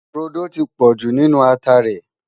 rodò tí pojú nínú àtá rè